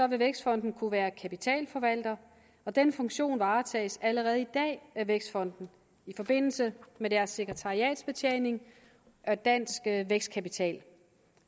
vil vækstfonden kunne være kapitalforvalter og den funktion varetages allerede i dag af vækstfonden i forbindelse med deres sekretariatsbetjening af dansk vækstkapital